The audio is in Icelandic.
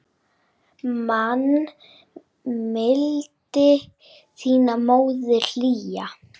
Man mildi þína móðirin hlýja.